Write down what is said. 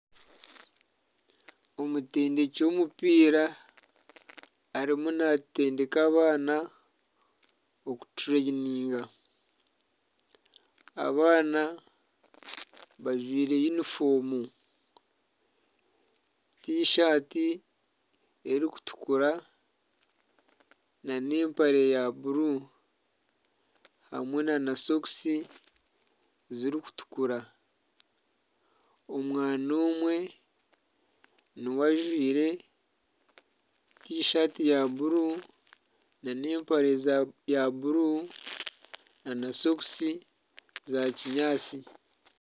Omutendeki w'omupiira arimu naatendeka abaana, okutendeka. Abaana bajwaire yunifoomu, tishati erikutukura n'empare ya bururu hamwe na sokisi zirikutukura. Omwana omwe niwe ajwaire tishati ya bururu n'empare ya bururu na sokisi za kinyaatsi.